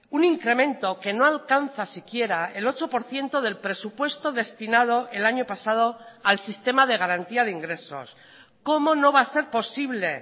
un incremento que no alcanza siquiera el ocho por ciento del presupuesto destinado el año pasado al sistema de garantía de ingresos cómo no va a ser posible